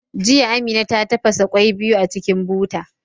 Jiya, Amina ta tafasa kwai biyu a cikin buta.